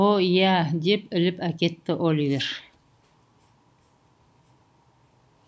о иә деп іліп әкетті оливер